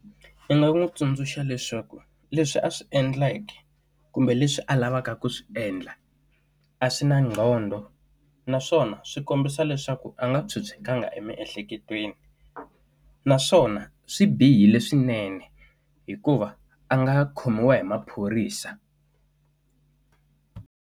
I nga n'wi tsundzuxa leswaku leswi a swi endleke kumbe leswi a lavaka ku swi endla, a swi na qhondo. Naswona swi kombisa leswaku a nga phyuphyekangi emiehleketweni. Naswona swi bihile swinene hikuva a nga khomiwa hi maphorisa.